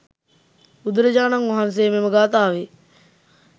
බුදුරජාණන් වහන්සේ මෙම ගාථාවේ